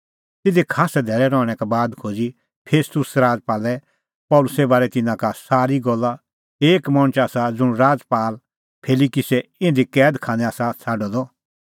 तिधी खास्सै धैल़ै रहणैं का बाद खोज़ी फेस्तुस राजपालै पल़सीए बारै तिन्नां का सारी गल्ला एक मणछ आसा ज़ुंण राजपाल फेलिक्सै इधी कैद खानै आसा छ़ाडअ द